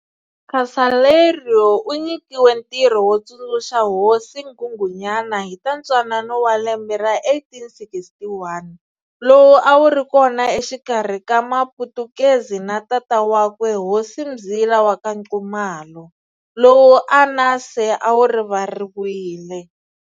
Casaleiro u nyikiwe ntirho wo tsundzuxa hosi nghunghunyana hi ta ntwanano wa lembe ra 1861 lowu a wu ri kona exikarhi ka Maputukezi na tata wa kwe Hosi Mzila wa ka Nxumalo, lowu a nase a wu rivariwile.